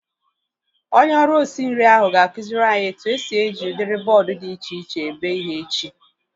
Onye ọrụ osi nri ahu ga-akụziri anyị etu esi eji udiri bọọdu dị iche iche ebe ihe echi